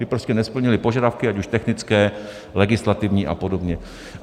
Ty prostě nesplnily požadavky ať už technické, legislativní a podobně.